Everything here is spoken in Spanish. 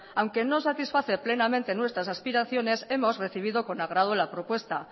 aunque no satisface plenamente nuestras aspiraciones hemos recibido con agrado la propuesta